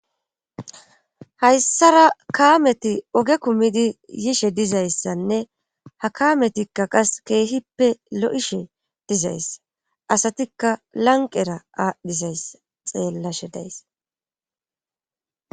hayssara kaameti oge kumidi yishe dizayssanne ha kaametikka qas keehippe lo7ishe dizayssa asatikka lanqera aadhdhizayssa xeellashe dayss